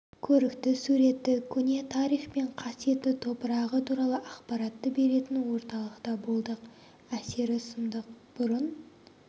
көрікті суретті көне тарих пен қасиетті топырағы туралы ақпаратты беретін орталықта болдық әсері сұмдық бұрын